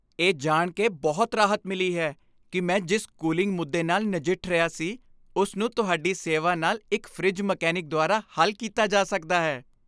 ਇਹ ਜਾਣ ਕੇ ਬਹੁਤ ਰਾਹਤ ਮਿਲੀ ਹੈ ਕਿ ਮੈਂ ਜਿਸ ਕੂਲਿੰਗ ਮੁੱਦੇ ਨਾਲ ਨਜਿੱਠ ਰਿਹਾ ਸੀ, ਉਸ ਨੂੰ ਤੁਹਾਡੀ ਸੇਵਾ ਨਾਲ ਇੱਕ ਫਰਿੱਜ ਮਕੈਨਿਕ ਦੁਆਰਾ ਹੱਲ ਕੀਤਾ ਜਾ ਸਕਦਾ ਹੈ।